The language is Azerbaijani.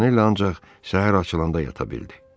Montanella ancaq səhər açılanda yata bildi.